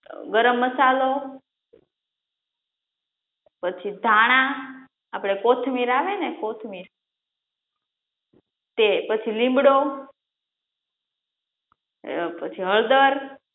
ગરમ મસાલો, પછી ધાણા, આપડે કોથમીર આવે ને કોથમીર તે પછી લીમડો, અ પછી હળદર,